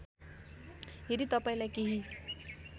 यदि तपाईँलाई केही